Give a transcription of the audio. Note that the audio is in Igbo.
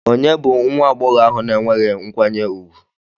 Ònye bụ nwa agbọghọ ahụ na-enweghị nkwanye ùgwù?